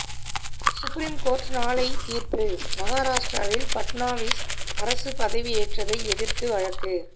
supreme court நாளை தீர்ப்பு மகாராஷ்டிராவில் பட்னாவிஸ் அரசு பதவியேற்றதை எதிர்த்து வழக்கு